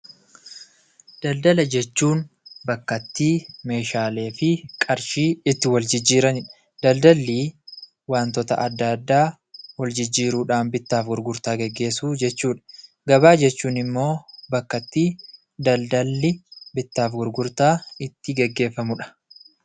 Daldala jechuun bakka itti meeshaalee fi qarshii itti wal jijjiiranidha. Daldallii wantoota adda addaa wal jijjiiruudhaan bittaaf gurgurtaa gaggeesssuu jechuudha. Gabaa jechuun immoo bakka itti daldalli bittaaf gurgurtaan itti gaggeefamamudha.